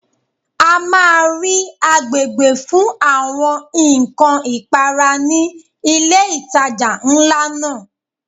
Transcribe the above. A máa rí agbègbè fún àwọn ǹkan ìpara ní ilé ìtajà ńlá náà.